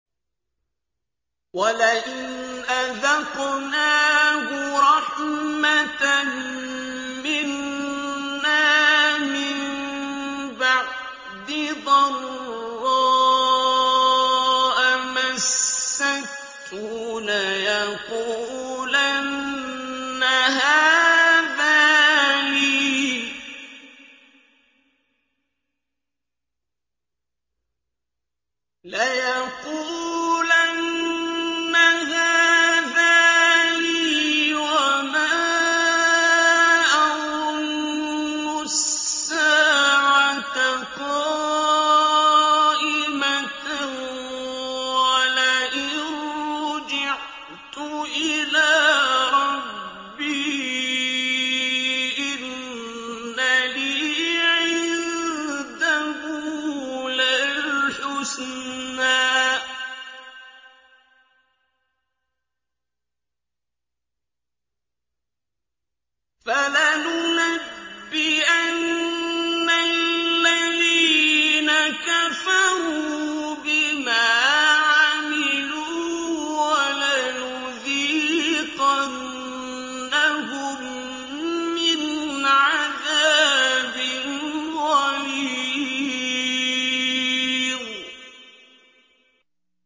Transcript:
وَلَئِنْ أَذَقْنَاهُ رَحْمَةً مِّنَّا مِن بَعْدِ ضَرَّاءَ مَسَّتْهُ لَيَقُولَنَّ هَٰذَا لِي وَمَا أَظُنُّ السَّاعَةَ قَائِمَةً وَلَئِن رُّجِعْتُ إِلَىٰ رَبِّي إِنَّ لِي عِندَهُ لَلْحُسْنَىٰ ۚ فَلَنُنَبِّئَنَّ الَّذِينَ كَفَرُوا بِمَا عَمِلُوا وَلَنُذِيقَنَّهُم مِّنْ عَذَابٍ غَلِيظٍ